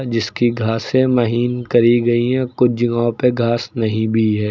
जिसकी घासें महीन करी गईं हैं कुछ जगहों पे घास नहीं भी है।